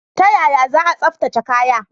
Ta yaya za a tsaftace kaya?